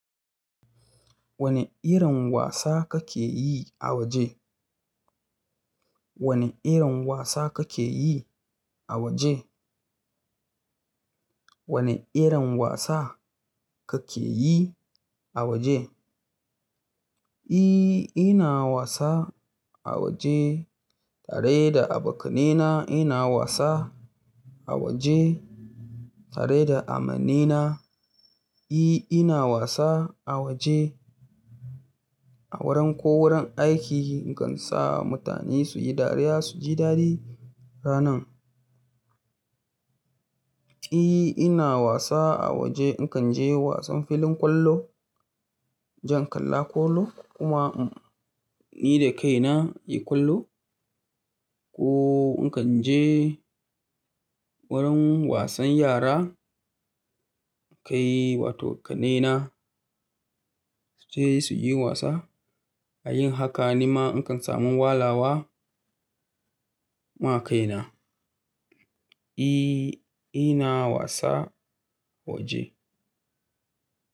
Wane irin wasa kake yi a waje? Wane irin wasa kake yi a waje? Wane irin wasa kake yi a waje? E, ina wasa a waje tare da abokanai na. Ina wasa a waje tare da amanai na. E, ina wasa a waje a wurin ko wurin aiki in kan sa mutane su yi dariya su ji dadi ranan. E, ina wasa a waje. In kan je wasan filin kwallo, in jan kalla kwallo kuma in yi da kaina in yi kwallo. Ko in kan je wurin wasan yara in kai wato ƙannai na sure su tafi su yi wasa. Ta yin haka ni ma in kan samu walawa ma kai na. E, ina wasa a waje.